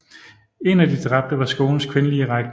En af de dræbte var skolens kvindelige rektor